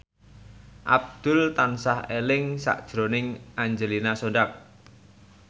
Abdul tansah eling sakjroning Angelina Sondakh